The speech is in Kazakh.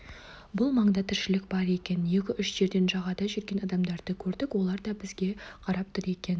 бұл маңда тіршілік бар екен екі-үш жерден жағада жүрген адамдарды көрдік олар да бізге қарап тұр екен